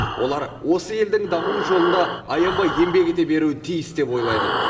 олар осы елдің дамуы жолында аянбай еңбек ете беруі тиіс деп ойлаймын